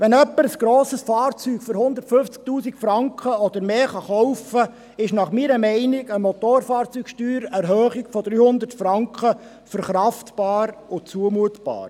Wenn jemand ein grosses Fahrzeug für 150 000 Franken oder mehr kaufen kann, ist meiner Meinung nach eine Motorfahrzeugsteuer-Erhöhung von 300 Franken verkraft- und zumutbar.